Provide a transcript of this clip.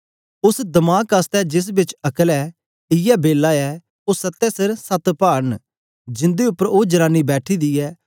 उस्स दमाक आसतै जेस बिच अक्ल ऐ इयै बेला ऐ ओ सत्ते सिर सत्ते पाड़ न जिंदे उपर ओ जनानी बैठी दी ऐ